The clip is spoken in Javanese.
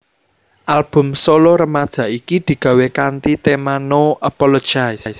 Album solo remaja iki digawé kanthi tema No Apologies